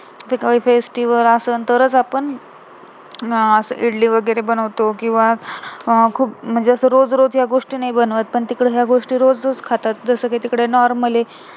काही festival असणं तरच आपण अं इडली वगैरे बनवतो किंवा अं खूप म्हणजे रोज रोज या गोष्टी नाही बनवत पण तिकडे त्या गोष्टी रोज रोज खातात जसं कि तिकडे normal आहे